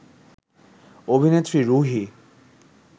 অভিনেত্রী রুহী